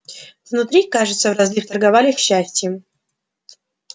внутри кажется в розлив торговали счастьем